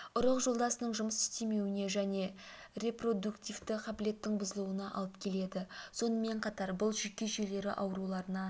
ұрық жолдасының жұмыс істемеуіне және репродуктивті қабілеттің бұзылуына алып келеді сонымен қатар бұл жүйке жүйелері ауруларына